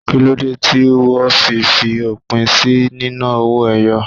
Kíló dé tí wó fi fi òpin sí nínà owó ẹyọ?